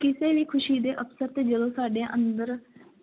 ਕਿਸੇ ਵੀ ਖ਼ੁਸ਼ੀ ਦੇ ਅਵਸਰ ਤੇ ਜਦੋਂ ਸਾਡੇ ਅੰਦਰ